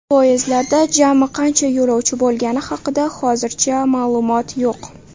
Poyezdlarda jami qancha yo‘lovchi bo‘lgani haqida hozircha ma’lumot yo‘q.